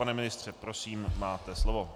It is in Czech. Pane ministře, prosím, máte slovo.